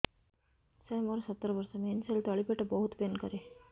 ସାର ମୋର ସତର ବର୍ଷ ମେନ୍ସେସ ହେଲେ ତଳି ପେଟ ବହୁତ ପେନ୍ କରେ